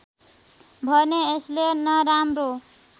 भने यसले नराम्रो